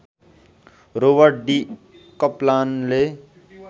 Robert D कप्लानले